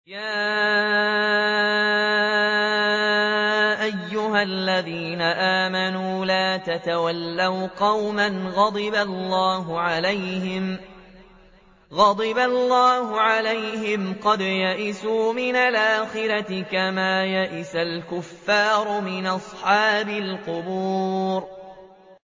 يَا أَيُّهَا الَّذِينَ آمَنُوا لَا تَتَوَلَّوْا قَوْمًا غَضِبَ اللَّهُ عَلَيْهِمْ قَدْ يَئِسُوا مِنَ الْآخِرَةِ كَمَا يَئِسَ الْكُفَّارُ مِنْ أَصْحَابِ الْقُبُورِ